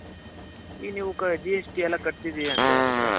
ಇನ್ನು ನೀವು GST ಎಲ್ಲ ಕಟ್ತೀನಿ ಅಂತ ಹೇಳುದ್ರೆ,